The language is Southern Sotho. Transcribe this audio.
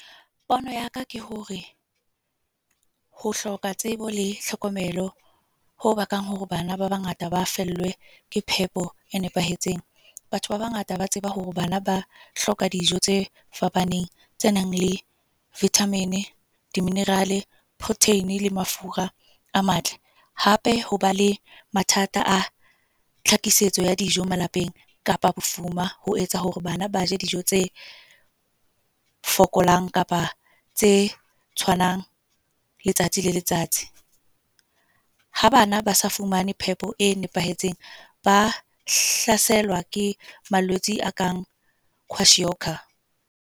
Pono ya ka ke hore, ho hloka tsebo le hlokomelo ho bakang hore bana ba bangata ba fellwe ke phepo e nepahetseng. Batho ba bangata ba tseba hore bana ba hloka dijo tse fapaneng tse nang le vitamin, di-mineral, protein le mafura a matle. Hape, hoba le mathata a tlhakisetso ya dijo malapeng kapa bofuma. Ho etsa hore bana ba je dijo tse fokolang kapa tse tshwanang, letsatsi le letsatsi. Ha bana ba sa fumane phepo e nepahetseng, ba ke malwetse a kang kwashiorkor.